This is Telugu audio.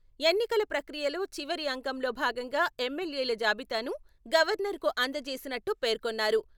ఎన్నికల ప్రక్రియలో చివరి అంకంలో భాగంగా ఎమ్మెల్యేల జాబితాను గవర్నర్కు అంజేసినట్టు పేర్కొన్నారు.